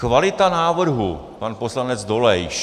Kvalita návrhu - pan poslanec Dolejš.